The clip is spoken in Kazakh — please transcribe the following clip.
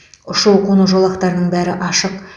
ұшу қону жолақтарының бәрі ашық